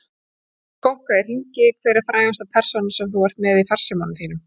Skokka í hringi Hver er frægasta persónan sem þú ert með í farsímanum þínum?